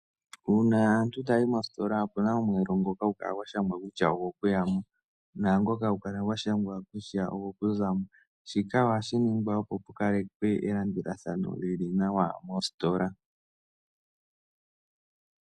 Uuna aantu taya yi moositola opuna omweelo ngoka hagu kala gwa shangwa kutya ogo kuya mo naangoka hagu kala gwa shangwa kutya ogo ku zamo, shika ohashi ningwa opo ku kalekwe elandulathano lyili nawa moositola.